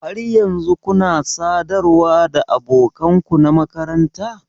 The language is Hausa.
Har yanzu kuna sadarwa da abokan ku na makaranta?